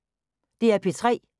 DR P3